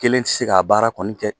Kelen ti se k'a baara kɔni kɛ.